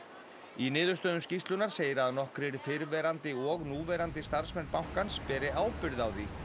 í niðurstöðum skýrslunnar segir að nokkrir fyrrverandi og núverandi starfsmenn bankans beri ábyrgð á því